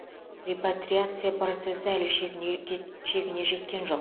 репатриация процесі әлі шегіне кет шегіне жеткен жоқ